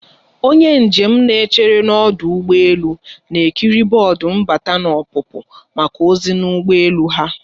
Onye njem na-echere n'ọdụ ụgbọ elu, na-ekiri bọọdụ mbata na ọpụpụ maka ozi n'ụgbọ elu ha